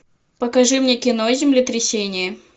покажи мне кино землетрясение